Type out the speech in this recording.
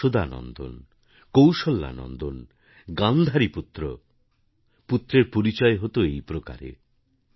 যশোদা নন্দন কৌশল্যা নন্দন গান্ধারী পুত্র পুত্রের পরিচয় হত এই প্রকারে